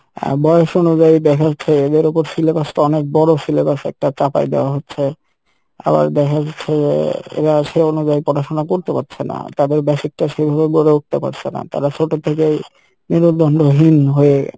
আহ বয়স অনুযায়ী দেখা যাচ্ছে এদের ওপর syllabus টা অনেক বড় syllabus একটা চাপাই দেওয়া হচ্ছে আবার দেখা যাচ্ছে যে এরা সেই অনুযায়ী পড়াশোনা করতে পারছে না আহ তাদের basic টা সেইভাবে গড়ে উঠতে পারসে না তারা ছোট থেকেই মেরুদন্ডহীন হয়ে